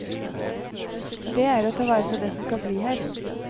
Dét er å ta vare på det som skal bli her.